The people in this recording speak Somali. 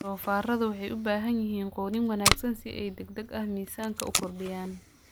Doofaarradu waxay u baahan yihiin quudin wanaagsan si ay si degdeg ah miisaanka u kordhiyaan.